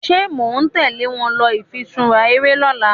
ṣe món tèlé wón ló ifiṣura eré lỌ̀la?